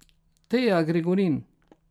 Teja Gregorin.